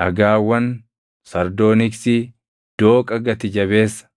dhagaawwan sardooniksii, dooqa gati jabeessa,